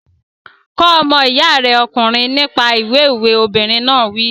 Kọ́ ọmọ iya rẹ ọkùnrin nípa ìwé òwe! Obìnrin náà wí.